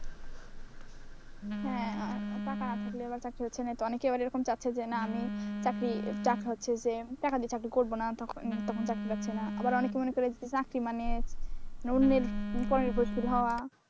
হ্যাঁ টাকা না থাকলে এবার চাকরি হচ্ছে না অনেকেই এবার এরকম চাচ্ছে যে না আমি চাকরি চাক্ক হচ্ছে যে, টাকা দিয়ে চাকরি করব না তখন চাকরি পাচ্ছে না অনেকে মনে করেন চাকরি মানে অন্যের পরের ফুসকি খাওয়া,